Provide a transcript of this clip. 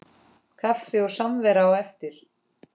Kaffi og samvera á eftir.